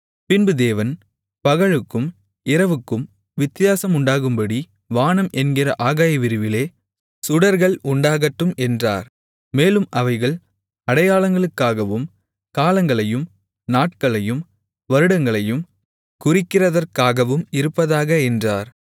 பின்பு தேவன் பகலுக்கும் இரவுக்கும் வித்தியாசம் உண்டாகும்படி வானம் என்கிற ஆகாயவிரிவிலே சுடர்கள் உண்டாகட்டும் என்றார் மேலும் அவைகள் அடையாளங்களுக்காகவும் காலங்களையும் நாட்களையும் வருடங்களையும் குறிக்கிறதற்காகவும் இருப்பதாக என்றார்